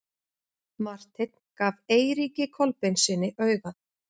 Marteinn gaf Eiríki Kolbeinssyni auga.